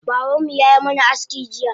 Babanmu yayi mana aski jiya